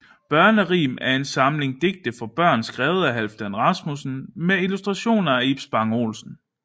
Børnerim er en samling digte for børn skrevet af Halfdan Rasmussen med illustrationer af Ib Spang Olsen